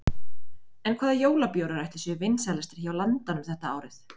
En hvaða jólabjórar ætli séu vinsælastir hjá landanum þetta árið?